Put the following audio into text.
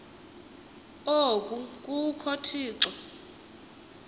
oku kukho thixo